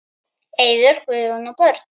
Eiður, Guðrún og börn.